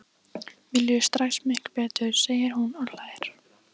Mér líður strax miklu betur, segir hún og hlær.